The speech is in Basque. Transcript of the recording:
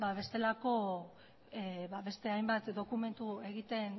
beste hainbat dokumentu egiten